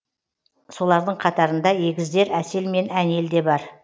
солардың қатарында егіздер әсел мен әнел де бар